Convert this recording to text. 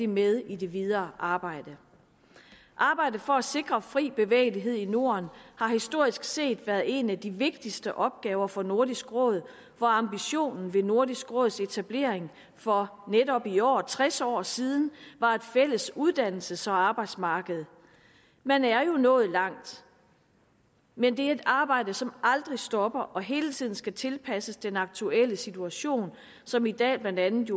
med i det videre arbejde arbejdet for at sikre fri bevægelighed i norden har historisk set været en af de vigtigste opgave for nordisk råd hvor ambitionen ved nordisk råds etablering for netop i år tres år siden var et fælles uddannelses og arbejdsmarked man er jo nået langt men det er et arbejde som aldrig stopper og hele tiden skal tilpasses den aktuelle situation som i dag jo blandt andet